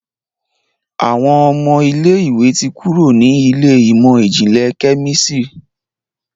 Àwọn ọmọ ilé ìwé ti kúrò nínú Ilé ìmọ̀n-jinlẹ Kẹ́mísìrì.